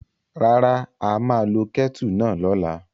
Rárá, a máa lo kẹ́tù náà lọ́la.